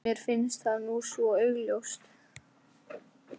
Mér finnst það nú svo augljóst.